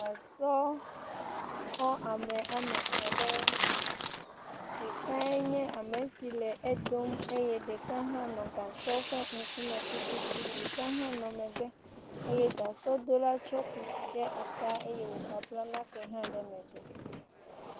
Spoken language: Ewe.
Gasɔ kɔ ame etɔ aɖe. Ɖekae nye ame si le edom, eye ɖeka hã nɔ gasɔa ƒe ŋkume tututu, Ɖeka hã nɔ megbe eye gasɔdola tsɔ kusi ɖe ta eye wogagbla nake hã ɖe megbe.